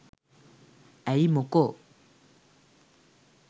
ඇයි මොකෝ